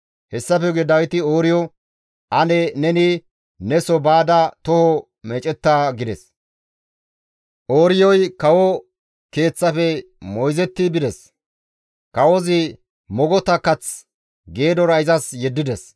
Hessafe guye Dawiti Ooriyo, «Ane neni neso baada toho meecetta» gides; Ooriyoy kawo keeththafe moyzetti bides; kawozi mogota kath geedora izas yeddides.